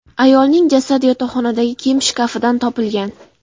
Ayolning jasadi yotoqxonadagi kiyim shkafidan topilgan.